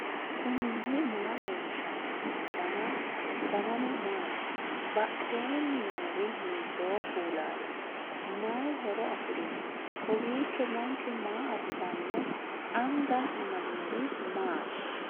knuni maa leellishanno ? danano maati ? badheenni noori hiitto kuulaati ? mayi horo afirino ? kowiicho manchu maa assanno anga amadinori maati